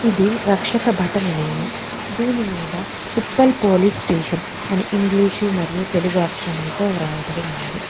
ఇది రక్షకబట నిలయము దీని మీద ఉప్పల్ పోలీసు స్టేషన్ అని ఇంగ్లీషు మరియ తెలుగు అక్షరములతో వ్రాయబడి ఉన్నది.